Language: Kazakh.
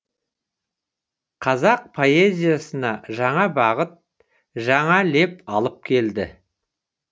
қазақ поэзиясына жаңа бағыт жаңа леп алып келді